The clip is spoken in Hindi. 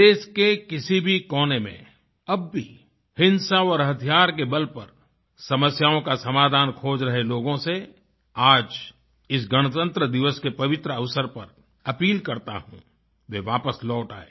देश के किसी भी कोने में अब भी हिंसा और हथियार के बल पर समस्याओं का समाधान खोज रहे लोगों से आज इस गणतंत्रदिवस के पवित्र अवसर पर अपील करता हूँ कि वे वापस लौट आएं